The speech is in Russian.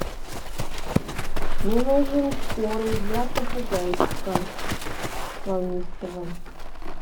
мне нужен корм для попугайчика волнистого